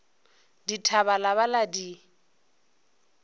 dithaba la ba la di